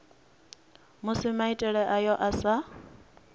musi maitele ayo a sa